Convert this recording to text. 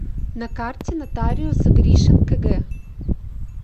на карте нотариус гришин кг